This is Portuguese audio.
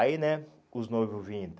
Aí, né, os noivos vindo.